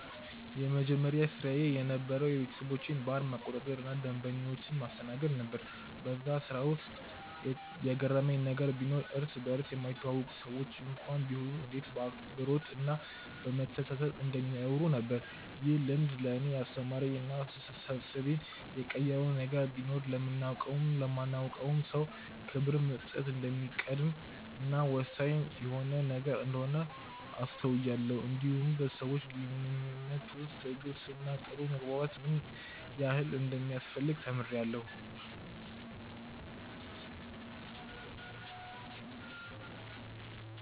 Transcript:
የመጀመሪያ ስራዬ የነበረዉ የቤተሰቦቼን ባር መቆጣጠር እና ደንበኞችን ማስተናገድ ነበር በዛ ስራ ውስጥ የገረመኝ ነገር ቢኖር እርስ በርስ የማይተዋወቁ ሰዎች እንኳን ቢሆኑ እንዴት በአክብሮት እና በመተሳሰብ እንደሚያወሩ ነበር። ይህ ልምድ ለእኔ ያስተማረኝ እና አስተሳሰቤን የቀየረው ነገር ቢኖር ለምናቀውም ለማናቀውም ሰው ክብር መስጠት እንደሚቀድም እና ወሳኝ የሆነ ነገር እንደሆነ አስተውያለው እንዲሁም በሰዎች ግንኙነት ውስጥ ትዕግስት እና ጥሩ መግባባት ምን ያህል እንደሚያስፈልግ ተምሬአለሁ።